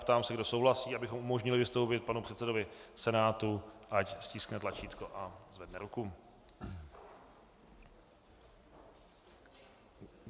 Ptám se, kdo souhlasí, abychom umožnili vystoupit panu předsedovi Senátu, ať stiskne tlačítko a zvedne ruku.